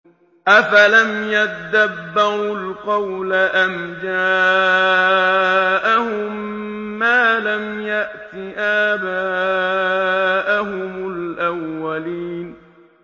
أَفَلَمْ يَدَّبَّرُوا الْقَوْلَ أَمْ جَاءَهُم مَّا لَمْ يَأْتِ آبَاءَهُمُ الْأَوَّلِينَ